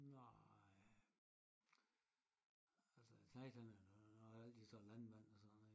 Nej altså æ knægt han har altid sagt landmand og sådan noget